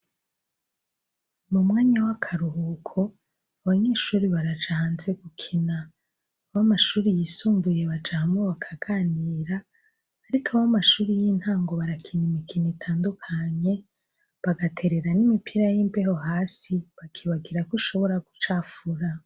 Mu mwanya w'akaruhuko, abanyeshure baraja hanze gukina. Ab'ashure yisumbuye baraja hanze bakagira, ariko ab'amashure y'intango barikina imikino itandukanye, bagaterera n'imipira y'imbeho hasi, bakibagira ko ishobora gucafura.